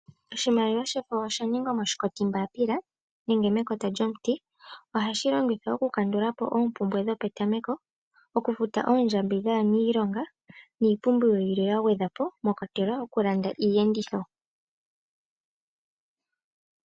Oshimaliwa shefo osha ningwa moshinkotimbaapila nenge mekota lyomuti. Ohashi longithwa okukandula po oompumbwe dhopetameko, okufuta oondjambi dhaaniilonga niipumbiwa yilwe ya gwedhwa po, mwa kwatelwa okulanda iiyenditho.